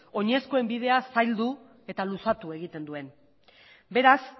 oinezkoen bidea zaildu eta luzatu egiten duen beraz